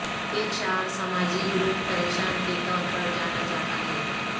ایک شعر سماجی گروپ پریشان کے طور پر جانا جاتا ہے